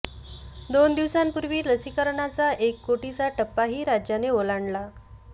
दोन दिवसांपूर्वी लसीकरणाचा एक कोटीचा टप्पाही राज्याने ओलांडला